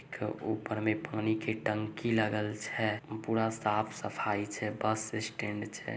--ऊपर में पानी के टंकी लागल छै पूरा साफ सफाई छै बस स्टैंड छै।